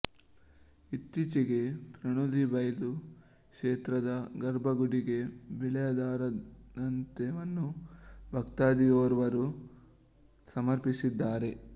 ಇತ್ತೀಚೆಗೆ ಪಣೋಲಿಬೈಲು ಕ್ಷೇತ್ರದ ಗರ್ಭ ಗುಡಿಗೆ ಬೆಳ್ಳಿಯ ದಾರಂದವನ್ನು ಭಕ್ತಾಧಿಯೋರ್ವರು ಸಮರ್ಪಿಸಿದ್ದಾರೆ